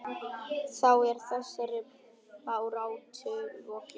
Þá er þessari baráttu lokið.